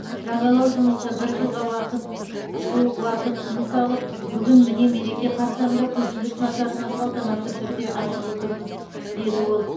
жаңалау жұмысы бір жылға уақыт жуық уақыт жұмсалып бүгін міне мереке қарсаңында көпшілік назарына салтанатты түрде ашып отырмыз деді ол